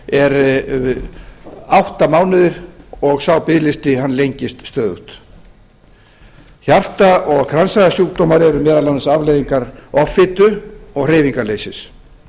eru átta mánuðir og sá biðlisti lengist stöðugt hjarta og kransæðasjúkdómar eru meðal annars afleiðingar offitu og hreyfingarleysis